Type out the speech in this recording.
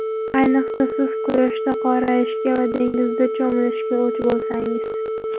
Ayniqsa, siz quyoshda qorayishga va dengizda cho‘milishga o‘ch bo‘lsangiz.